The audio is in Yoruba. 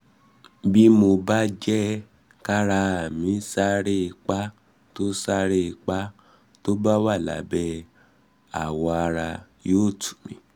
bí mo bá jẹ́ kára mí ṣàárẹ̀ ipa tó ṣàárẹ̀ ipa tó wà lábẹ́ awọ ara yóò tù mí